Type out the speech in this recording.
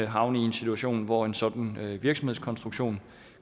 havne i en situation hvor en sådan virksomhedskonstruktion